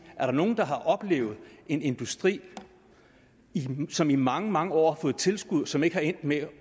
er nogle der har oplevet en industri som i mange mange år fået tilskud og som ikke er endt med